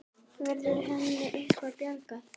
Verður henni eitthvað bjargað?